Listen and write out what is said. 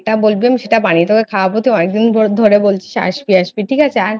বলবি বানিয়ে নিয়ে তোকে খাওয়াবো তুই অনেকদিন ধরে বলছিস তুই আসবি ঠিক আছে